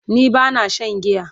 ni bana Shan giya